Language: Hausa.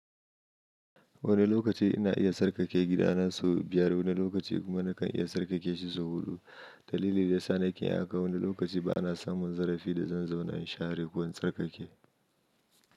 Wani lokaci ina iya tsarkake gidana sau biyar, wani lokaci kuma nakan iya tsarkake sau huɗu. Dalili da yasa nake haka. Wani lokaci ba na samun zarafi da zan zauna in share ko in tsarkake.